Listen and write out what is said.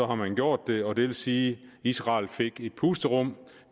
man gjort det og det vil sige at israel fik et pusterum